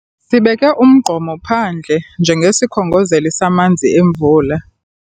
Sibeke umgqomo phandle njengesikhongozeli samanzi emvula.